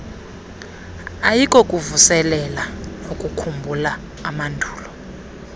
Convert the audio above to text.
ayikokuvuselela nokukhumbula amandulo